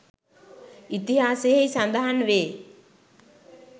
ඉතිහාසයෙහි සඳහන් වේ.